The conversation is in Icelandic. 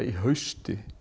í hausti